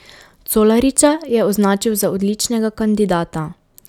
Colariča je označil za odličnega kandidata.